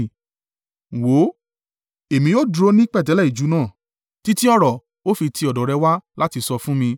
Wò ó, èmi ó dúró ní pẹ̀tẹ́lẹ̀ ijù náà, títí ọ̀rọ̀ ó fi ti ọ̀dọ̀ rẹ̀ wá láti sọ fún mi.”